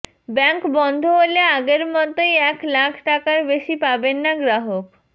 bank বন্ধ হলে আগের মতোই এক লাখ টাকার বেশি পাবে না গ্রাহক